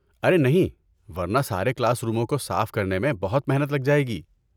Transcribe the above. ارے نہیں! ورنہ سارے کلاس روموں کو صاف کرنے میں بہت محنت لگ جائے گی!